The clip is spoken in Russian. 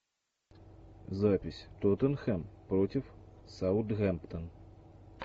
запись тоттенхэм против саутгемптон